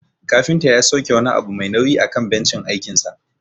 Kafinta ya sauke wani abu mai nauyi akan bencin aikinsa.